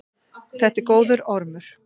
Þetta er góður ormur.